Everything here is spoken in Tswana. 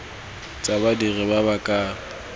tsa badiri ba ba ka